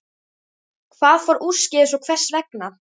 Hvað fór úrskeiðis og hvers vegna?